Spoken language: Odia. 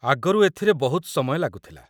ଆଗରୁ ଏଥିରେ ବହୁତ ସମୟ ଲାଗୁଥିଲା